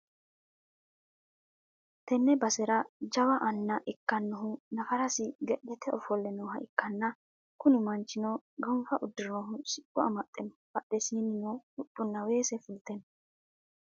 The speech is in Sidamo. tenne basera jawa anna ikkinohu nafarisira ge'leete ofolle nooha ikkanna, kuni manchino gonfa uddirinohu siqqo amaxxe no, badheessinino huxxunna weese fulte no.